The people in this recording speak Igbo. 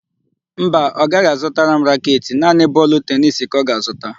Mba, ọ gaghị azụtara m raketị; naanị bọọlụ tenisi ka ọ ga-azụta.